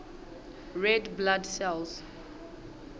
red blood cells